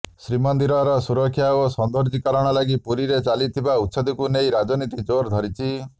ଶ୍ରୀମନ୍ଦିରର ସୁରକ୍ଷା ଓ ସୌନ୍ଦର୍ଯ୍ୟକରଣ ଲାଗି ପୁରୀରେ ଚାଲିଥିବା ଉଚ୍ଛେଦକୁ ନେଇ ରାଜନୀତି ଜୋର ଧରିଛି